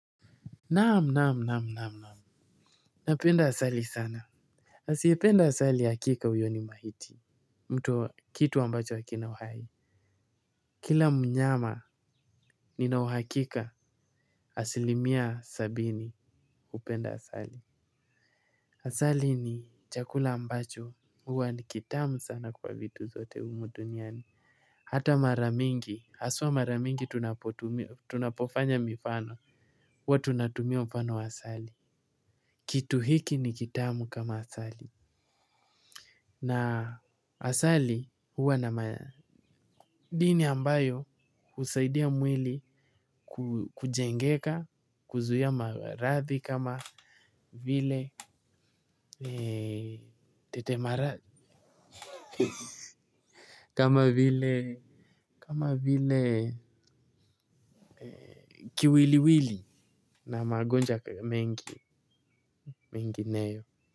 Naam naam naam naam naam. Napenda asali sana. Asiyependa asali hakika huyoni maiti. Mtu kitu ambacho hakina uhai. Kila mnyama ninauhakika asilimia sabini hupenda asali. Asali ni chakula ambacho huwa ni kitamu sana kwa vitu zote humuduniani hata mara mingi haswa mara mingi tunapotu tunapofanya mifano huwa tunatumia mfano wa asali. Kitu hiki ni kitamu kama asali na asali huwa na ma dini ambayo kusaidia mwili kujengeka kuzuia maradhi kama vile tete maradhi kama vile kama vile Kiwiliwili Na magonjwa mengi mengineyo.